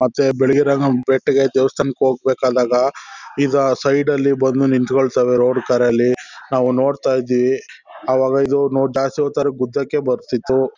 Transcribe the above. ಮತ್ತೆ ಬಿಳ್ಗಿ ರಂಗನ್ ಬೆಟ್ಟಕೇ ದೇವಸ್ಥಾನಕ್ಕೆ ಹೋಗ್ ಬೇಕಾದಾಗ ಇದು ಸೈಡ್ ಅಲ್ ಬಂದು ನಿಂತ್ಕೊತಾವೆ ರೋಡ್ ಕಾರ್ ಅಲ್ಲಿ ನಾವು ನೋಡ್ತಾ ಇದೀವಿ .ಅವಾಗ ಇದು ನೋ ಜಾಸ್ತಿ ಹೊತ್ ಆದ್ರೆ ಗುದ್ದಕೆ ಬರ್ತಿತ್ತು .